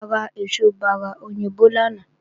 A ra èso bárà òyìnbó lánàá